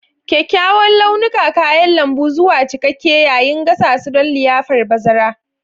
Kyawawan launukan kayan lambu zuwa cikakke yayin gasa su don liyafar bazara.